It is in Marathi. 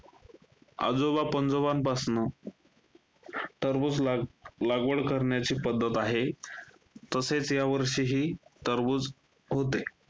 आजोबा-पंजोबांपासनं टरबूज लाग~ लागवड करण्याची पद्धत आहे. तसेच, यावर्षीही टरबूज होते.